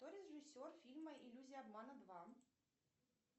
кто режиссер фильма иллюзия обмана два